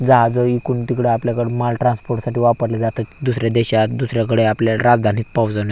जहाजं इकडून तिकडं आपल्याकड माल ट्रान्सपोर्ट साठी वापरले जातात दुसऱ्या देशात दुसऱ्याकडे आपल्या राजधानीत --